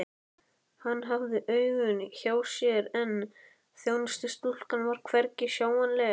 Hann hafði augun hjá sér en þjónustustúlkan var hvergi sjáanleg.